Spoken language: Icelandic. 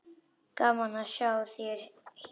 Gaman að sjá þig hér!